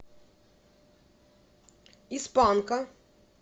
из панка